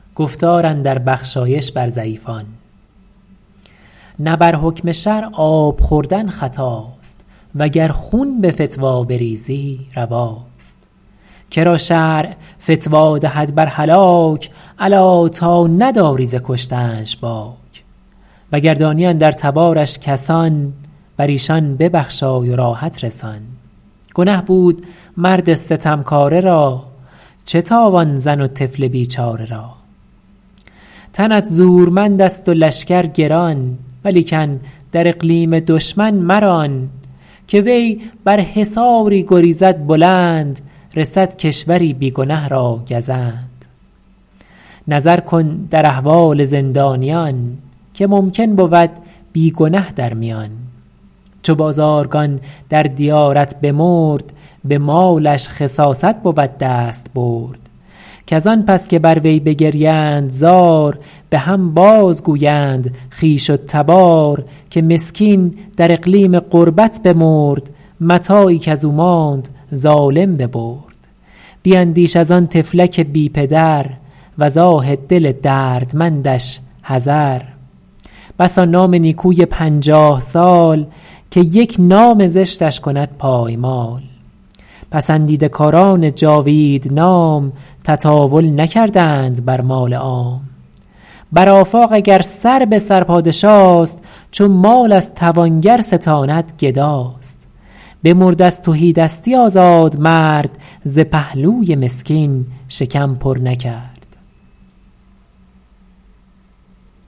نه بر حکم شرع آب خوردن خطاست وگر خون به فتوی بریزی رواست که را شرع فتوی دهد بر هلاک الا تا نداری ز کشتنش باک وگر دانی اندر تبارش کسان بر ایشان ببخشای و راحت رسان گنه بود مرد ستمکاره را چه تاوان زن و طفل بیچاره را تنت زورمند است و لشکر گران ولیکن در اقلیم دشمن مران که وی بر حصاری گریزد بلند رسد کشوری بی گنه را گزند نظر کن در احوال زندانیان که ممکن بود بی گنه در میان چو بازارگان در دیارت بمرد به مالش خساست بود دستبرد کز آن پس که بر وی بگریند زار به هم باز گویند خویش و تبار که مسکین در اقلیم غربت بمرد متاعی کز او ماند ظالم ببرد بیندیش از آن طفلک بی پدر وز آه دل دردمندش حذر بسا نام نیکوی پنجاه سال که یک نام زشتش کند پایمال پسندیده کاران جاوید نام تطاول نکردند بر مال عام بر آفاق اگر سر به سر پادشاست چو مال از توانگر ستاند گداست بمرد از تهیدستی آزاد مرد ز پهلوی مسکین شکم پر نکرد